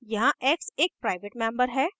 यहाँ x एक private member है